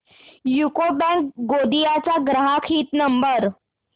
UCO bank Gondia चा ग्राहक हित नंबर